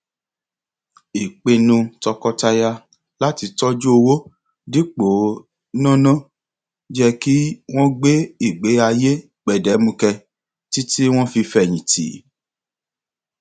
ìpinnu tọkọtaya láti tọjú owó dípò náná jẹ kí wọn gbé ìgbé ayé gbẹdẹmukẹ títí wọn fi fẹyìn tì